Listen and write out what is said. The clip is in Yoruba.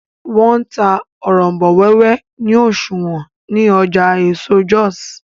wón n tá Òrombó wéwé ni oṣuwọn ní Ọjà eso Jos